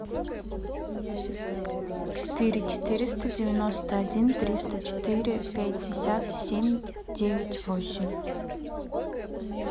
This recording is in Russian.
четыре четыреста девяносто один триста четыре пятьдесят семь девять восемь